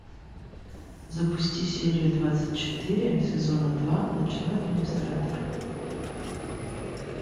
запусти серию двадцать четыре сезона два ночной администратор